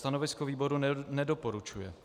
Stanovisko výboru: nedoporučuje.